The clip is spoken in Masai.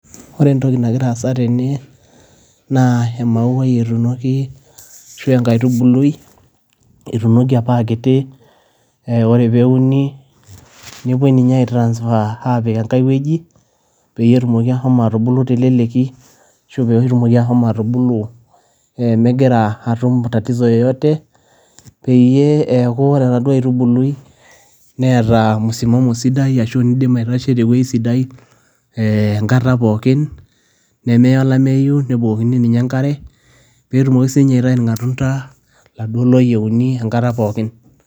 Ore entoki nagiraa aasa tene naa emauai etuunoki, ashu enkaitubului etuunoki apa a kiti, ore pee uni newuoi ninye aitransfer apik enkai wueji peyie etumoki ashomo atubuluu te leleki ashu peyie etumoki ashomo atubulu megira atum tatizo yoyote. Peyie eaku ore enaduo aitubulu neeta msimamo sidai ashu nidim aitasho te wueji sidai enkata pooki, nemeya olameyu nebukokini ninye enkare, pee etumoki sii ninye aitayu ilmatunda iladuo loyieni enkata pooki.